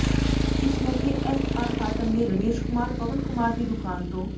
ਇਸ ਮੌਕੇ S R cotton ਨੇ ਰਮੇਸ਼ ਕੁਮਾਰ ਪਵਨ ਕੁਮਾਰ ਦੀ ਦੁਕਾਨ ਤੋ